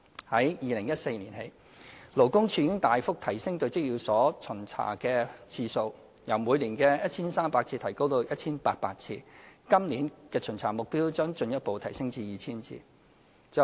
自2014年起，勞工處已大幅提升對職業介紹所的巡查次數，由每年 1,300 次增加至 1,800 次，今年的巡查目標將進一步提升至 2,000 次。